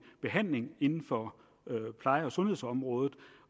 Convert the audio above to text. behandling inden for pleje og sundhedsområdet